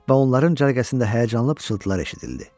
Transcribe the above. Və onların cərgəsində həyəcanlı pıçıltılar eşidildi.